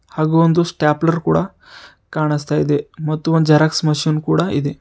ಹಾಗೂ ಒಂದು ಸ್ಟಾಪ್ಲರ್ ಕೂಡ ಕಾಣಿಸ್ತಾ ಇದೆ ಮತ್ತು ಜೆರಾಕ್ಸ್ ಮೆಷಿನ್ ಕೂಡ ಇದೆ.